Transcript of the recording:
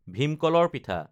ভীম কলৰ পিঠা